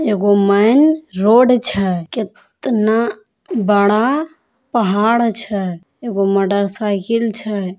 एगो main road छै केतना बड़ा पहाड़ छै एगो मोटरसाइकल छै।